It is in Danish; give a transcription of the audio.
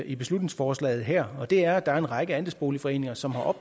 i beslutningsforslaget her og det er at der er en række andelsboligforeninger som har